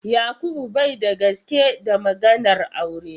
Yakubu bai da gaske da maganar aure.